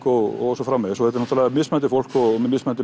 og svo framvegis þetta er mismunandi fólk með mismunandi